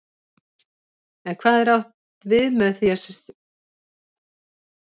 En hvað er átt við með því þegar sagt er að menn eigi að sýna